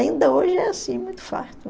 Ainda hoje é assim, muito farto.